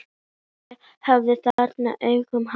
Ég erfði þennan áhuga hans.